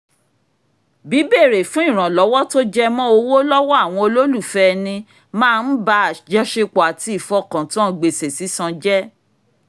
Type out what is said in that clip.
bíbèrè fún ìrànlọ́wọ́ tó jẹ́ mọ́ owó lọ́wọ́ àwọn olólùfẹ́ ẹnì máa ń ba àjọṣepọ̀ àti ìfọkàntán gbèsè sísan jẹ́